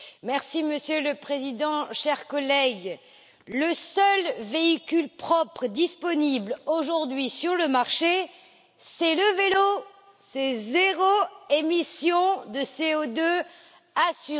Monsieur le Président, chers collègues, le seul véhicule propre disponible aujourd'hui sur le marché, c'est le vélo c'est zéro émission de CO2 assurée.